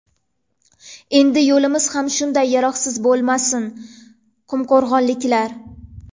Endi yo‘limiz ham shunday yaroqsiz bo‘lmasin” qumqo‘rg‘onliklar.